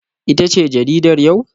Ita ce jaridar yau?